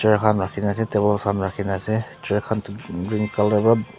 kan rakina ase tables kan raki na ase chair kan tu green colour va.